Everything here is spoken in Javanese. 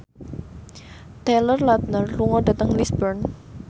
Taylor Lautner lunga dhateng Lisburn